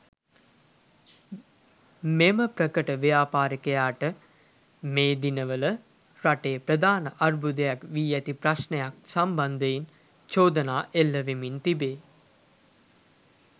මෙම ප්‍රකට ව්‍යාපරිකයාට මේ දිනවල රටේ ප්‍රධාන අර්බුදයක් වී ඇති ප්‍රශ්ණයක් සම්බන්ධයෙන්ද චෝදනා එල්ල වෙමින් තිබේ.